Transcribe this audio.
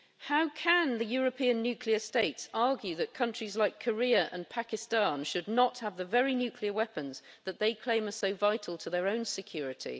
How can the European nuclear states argue that countries like Korea and Pakistan should not have the very nuclear weapons that they claim is so vital to their own security?